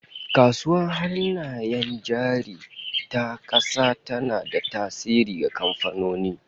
Kasuwar Hannayen Jari ta kasa tana da tasiri ga kamfanoni